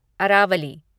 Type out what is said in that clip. Aravalli